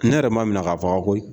Ne yɛrɛ ma minɛ ka faga koyi